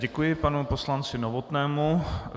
Děkuji panu poslanci Novotnému.